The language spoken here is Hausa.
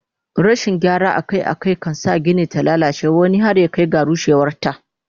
Rashin gyara Akai Akai kan sa Gini ta lallace wani har ta Kai ga rushewar ta